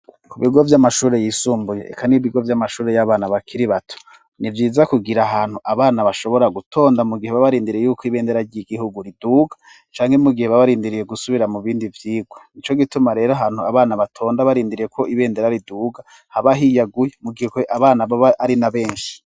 Ku bigo by'amashuri yisumbuye eka n'ibigo by'amashuri y'abana bakiri bato nibyiza kugira ahantu abana bashobora gutonda mu gihe babarindiriye yuko ibendera ry'igihugu riduga, canke mu gihe babarindiriye gusubira mu bindi byiga nico gituma rero ahantu abana batonda barindiriye ko ibendera riduga habahiyaguye mu gihe abana baba ari na benshi.